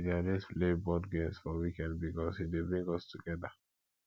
we dey always play board games for weekend bikos e dey bring us togeda